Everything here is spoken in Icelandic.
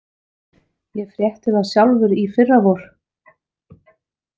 Ég frétti það sjálfur í fyrravor.